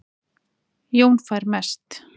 Jón fær mest